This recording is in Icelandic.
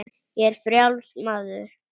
Ég er frjáls maður!